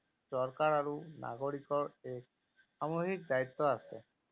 চৰকাৰ আৰু নাগৰিকৰ এক সামূহিক দায়িত্ব আছে।